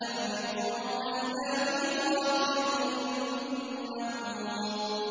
لَمَجْمُوعُونَ إِلَىٰ مِيقَاتِ يَوْمٍ مَّعْلُومٍ